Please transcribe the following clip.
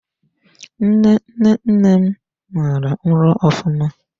Nne nne nne m mara ịlụ ofụma.